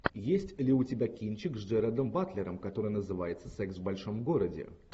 есть ли у тебя кинчик с джерардом батлером который называется секс в большом городе